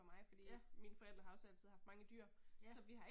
Ja. Ja